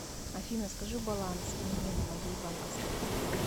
афина скажи баланс мне на моей банковской карте